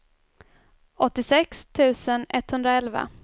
åttiosex tusen etthundraelva